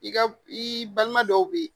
I ka i balima dɔw be ye